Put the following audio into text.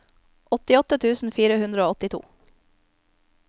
åttiåtte tusen fire hundre og åttito